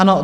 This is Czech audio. Ano.